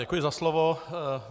Děkuji za slovo.